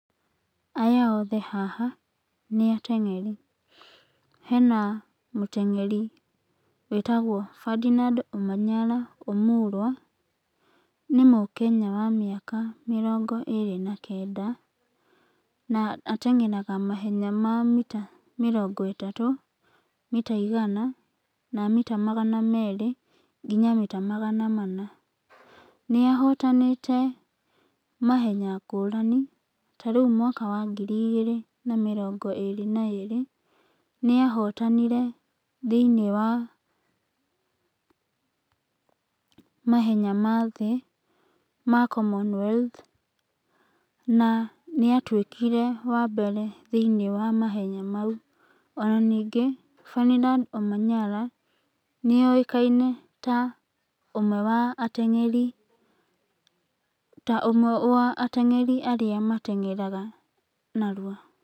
Aya othe haha nĩ ateng'eri hena mũteng'eri wĩtagwo benard omanyala omulwa. Nĩ mũkenya wa mĩaka mĩrongo ĩrĩ na kenda na ateng'eraga mahenya ma mĩrongo ĩtatũ na mĩta igana, mita magana merĩ nginya mita magana mana. Nĩahotanĩte mahenya ngũrani tarĩu mwaka wa ngiri igĩre na mĩrongo ĩrĩ na ĩrĩ nĩahotanire thĩiniĩ wa mahenya ma thĩ ma common health na nĩatwĩkire wa mbere thĩiniĩ wa mahenya mau ona ningĩ benard omanyala nĩokaine ta ũmwe wa atang'eri , ũmwe wateng'eri warĩa mateng'eraga narua.